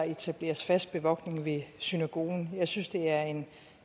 etableres fast bevogtning ved synagogen jeg synes det er en